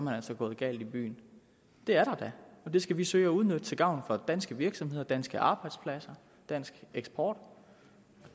han altså gået galt i byen det er der da og det skal vi søge at udnytte til gavn for danske virksomheder danske arbejdspladser dansk eksport